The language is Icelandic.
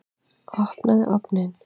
Opnaðu ofninn!